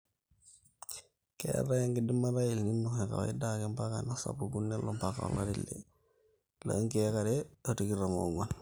keetae enkidimata e elnino e kawaida ake mpaka nesapuku nelo mpaka olari le nkiek are o tikitan oonguan